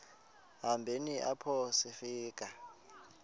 hambeni apho sifika